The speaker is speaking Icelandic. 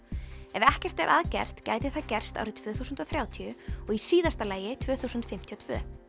ef ekkert er að gert gæti það gerst árið tvö þúsund og þrjátíu og í síðasta lagi tvö þúsund fimmtíu og tvö